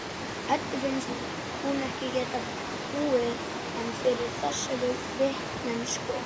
Eddu finnst hún ekki geta búið ein yfir þessari vitneskju.